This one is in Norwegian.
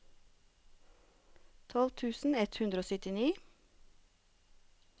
tolv tusen ett hundre og syttini